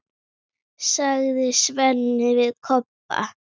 Hvernig fer Ísland- Úkraína?